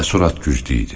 Təəssürat güclü idi.